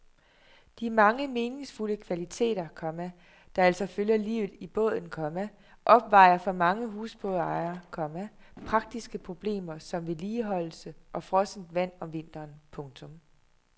De mange meningsfulde kvaliteter, komma der altså følger livet i båden, komma opvejer for mange husbådejere, komma praktiske problemer som vedligeholdelse og frossent vand om vinteren. punktum